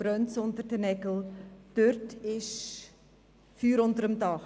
In diesem Bereich ist Feuer im Dach.